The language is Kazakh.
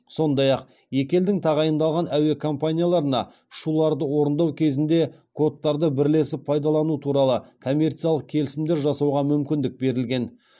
сондай ақ екі елдің тағайындалған әуе компанияларына ұшуларды орындау кезінде кодтарды бірлесіп пайдалану туралы коммерциялық келісімдер жасауға мүмкіндік берілген